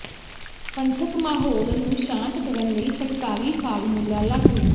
ਪੰਥਕ ਮਾਹੌਲ ਨੂੰ ਸ਼ਾਂਤ ਕਰਨ ਲਈ ਸਰਕਾਰੀ ਫਾਰਮੂਲਾ ਲਾਗੂ